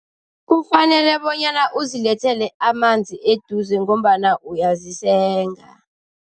Kufanele bonyana uzilethele amanzi eduze ngombana uyazisenga.